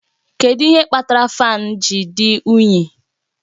Kedu ihe kpatara fáan ji dị unyi?